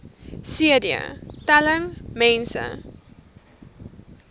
cd telling mense